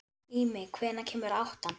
Ími, hvenær kemur áttan?